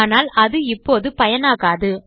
ஆனால் அது இப்போது பயனாகாது